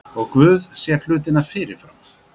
Og Guð sér hlutina fyrirfram.